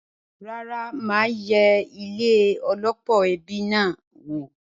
Rárá, mà á yẹ ilé -ọlọ́pọ̀ ẹbi náà wò.